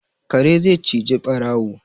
Kare zai cije ɓarawo